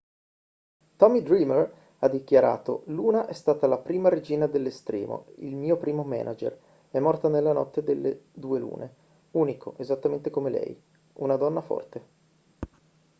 tommy dreamer ha dichiarato luna è stata la prima regina dell'estremo il mio primo manager è morta nella notte delle due lune unico esattamente come lei una donna forte